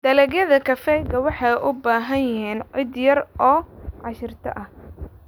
Dalagyada kafeega waxay u baahan yihiin ciid yar oo aashito ah.